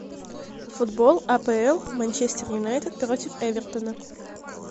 футбол апл манчестер юнайтед против эвертона